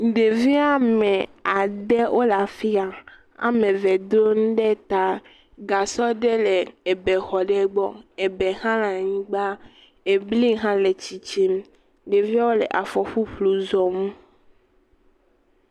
Ɖevi ame ade wole fi ya, ame eve do nu ɖe ta, gasɔ ɖe le ebe xɔ ɖe gbɔ, ebe hã le anyigba, ebli hã le tsitsim. Ɖeviawo le afɔ ƒuƒlu zɔm.